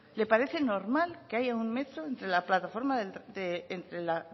le parece normal que haya un metro entre la plataforma entre la